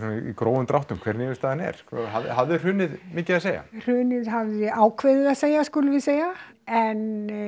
grófum dráttum hver niðurstaðan er hafði hrunið mikið að segja hrunið hafði ákveðið að segja að segja en